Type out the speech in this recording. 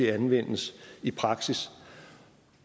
anvendes i praksis